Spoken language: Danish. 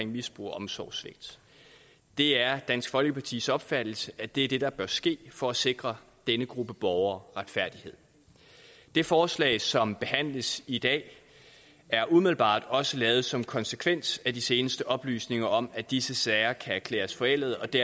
misbrug og omsorgssvigt det er dansk folkepartis opfattelse at det er det der bør ske for at sikre denne gruppe borgere retfærdighed det forslag som behandles i dag er umiddelbart også lavet som en konsekvens af de seneste oplysninger om at disse sager kan erklæres forældede og det